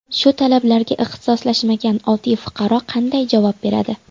Shu talablarga ixtisoslashmagan oddiy fuqaro qanday javob beradi?